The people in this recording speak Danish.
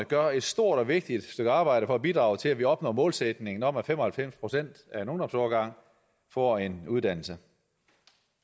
gør et stort og vigtigt stykke arbejde for at bidrage til at vi opnår målsætningen om at fem og halvfems procent af en ungdomsårgang får en uddannelse